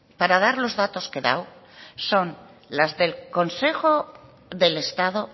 para dar los datos que he dado son las del consejo del estado